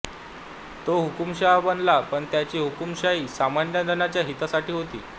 तो हुकुमशाह बनला पण त्याची हुकुमशाही सामान्यजणांच्या हितासाठी होती